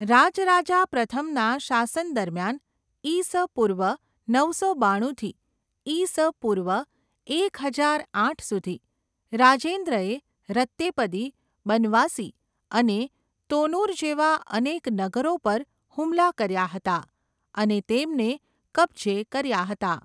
રાજરાજા પ્રથમના શાસન દરમિયાન ઈ.સ. પૂર્વ નવસો બાણુંથી ઈ.સ. પૂર્વ એક હજાર આઠ સુધી, રાજેન્દ્રએ રત્તેપદી, બનવાસી અને તોનુર જેવા અનેક નગરો પર હુમલા કર્યા હતા અને તેમને કબજે કર્યા હતા.